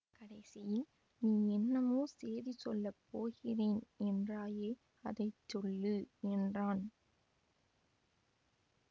கடைசியில் நீ என்னமோ சேதி சொல்ல போகிறேன் என்றாயே அதை சொல்லு என்றான்